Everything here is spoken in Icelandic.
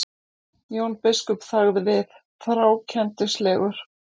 Jón biskup þagði við, þrákelknislegur.